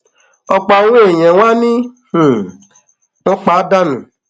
ọpọ àwọn èèyàn wa ni um wọn pa danú